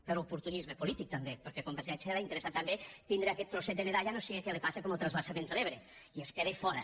per oportunisme polític també perquè a convergència li ha interessat també tindre aquest trosset de medalla no siga que li passi com al transvasament de l’ebre i es quedi fora